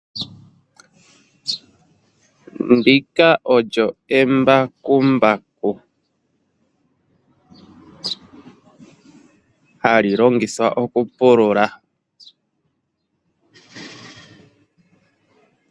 Ndika olyo embakumbaku hali longithwa okupulula.